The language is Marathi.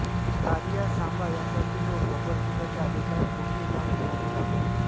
कालिया सांभा यांसारखे लोक गब्बरसिंगाच्या आदेशावर कोठेही जाऊन धुमाकूळ घालत